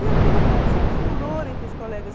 E aquilo causou um furor entre os colegas.